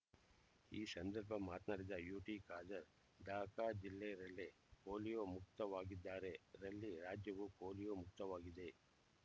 ಈ ಸಂದರ್ಭ ಮಾತನಾಡಿದ ಯುಟಿ ಖಾದರ್ ದಕ ಜಿಲ್ಲೆ ರಲ್ಲೇ ಪೋಲಿಯೊ ಮುಕ್ತವಾಗಿದ್ದರೆ ರಲ್ಲಿ ರಾಜ್ಯವೂ ಪೋಲಿಯೊ ಮುಕ್ತವಾಗಿದೆ